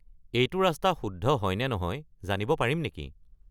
এইটো ৰাস্তা শুদ্ধ হয় নে নহয় জানিব পাৰিম নেকি?